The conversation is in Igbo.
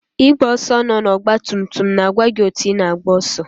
Igwe ọsọ na ọgba tum tum na-agwa gị otu ị na-agba ọsọ.